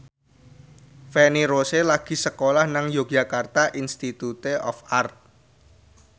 Feni Rose lagi sekolah nang Yogyakarta Institute of Art